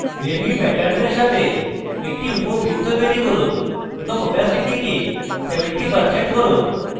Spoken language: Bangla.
wavy প্যাটার্নের সাথে একটি উপবৃত্ত তৈরী করুন এবং opacity কে 70% করুন